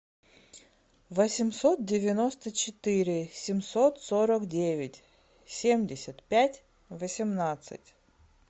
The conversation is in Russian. восемьсот девяносто четыре семьсот сорок девять семьдесят пять восемнадцать